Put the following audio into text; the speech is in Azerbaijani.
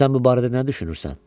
Sən bu barədə nə düşünürsən?